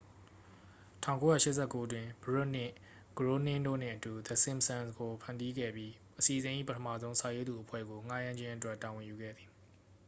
1989 တွင် ဘရွတ်နှင့် ဂရိုးနင်းတို့နှင့်အတူ the simpsons ကို ဖန်တီးခဲ့ပြီး အစီအစဉ်၏ ပထမဆုံး စာရေးသူအဖွဲ့ကို ငှားရမ်းခြင်းအတွက် တာဝန်ယူခဲ့သည်